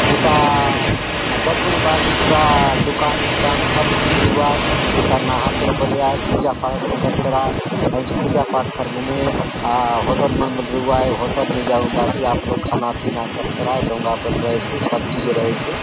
हुथा दखुन भांति पुरा दुकान पुकान सब कुछ रहुआय हुथा नहातोर बले आय पुजा पाठ बले करतोर आय हुन चो पुजा पाठ करले ने अ होटल मन बले रहुआय होटल ने जाऊन भांति आपलो खाना पीना करतोर आय डोगा बले रहैसे सब चीज रहैसे।